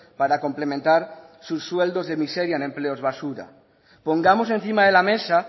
para complementar sus sueldos de miseria en empleos basura pongamos encima de la mesa